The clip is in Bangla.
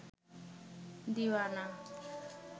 দিওয়ানা